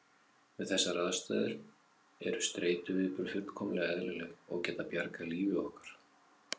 Við þessar aðstæður eru streituviðbrögð fullkomlega eðlileg og geta bjargað lífi okkar.